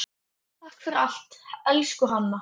Takk fyrir allt, elsku Hanna.